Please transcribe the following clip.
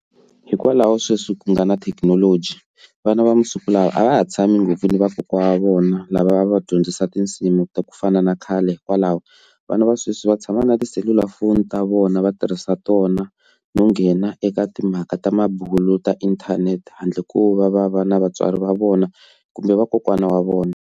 Hikwalaho sweswi ku nga na thekinoloji vana va masiku lawa a va ha tshami ngopfu ni vakokwana wa vona lava va va dyondzisa tinsimu ta ku fana na khale hikwalaho vana va sweswi va tshama na tiselulafoni ta vona va tirhisa tona no nghena eka timhaka ta mabulo ta inthanete handle ko va va va na vatswari va vona kumbe vakokwana wa vona.